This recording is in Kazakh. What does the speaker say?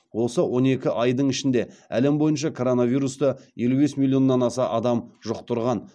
осы он екі айдың ішінде әлем бойынша коронавирусты елу бес милионнан аса адам жұқтырған